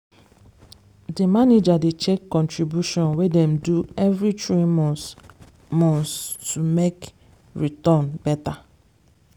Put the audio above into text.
the manager dey check contribution wey dem do every three months months to make return better.